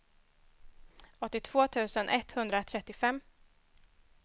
åttiotvå tusen etthundratrettiofem